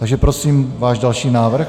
Takže prosím váš další návrh.